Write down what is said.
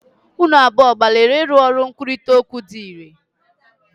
Unu abụọ gbalịrị ịrụ ọrụ nkwurịta okwu dị irè?